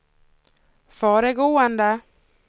föregående